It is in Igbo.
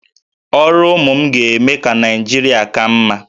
Ọrụ ụmụ m ga-eme ka Naịjirịa ka mma